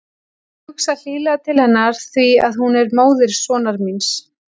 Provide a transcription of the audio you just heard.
Ég hugsa hlýlega til hennar því að hún er móðir sonar míns.